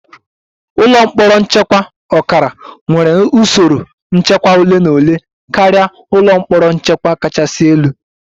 Ụlọ mkpọrọ nchekwa ọkara nwere usoro nchekwa ole na ole karịa ụlọ mkpọrọ nchekwa kachasị elu